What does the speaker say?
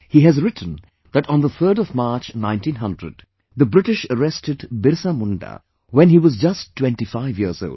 He has written that on the 3rd of March, 1900, the British arrested BirsaMunda, when he was just 25 years old